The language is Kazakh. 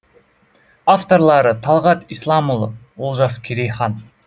авторлары талғат исламұлы олжас керейхан